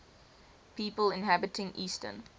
people inhabiting eastern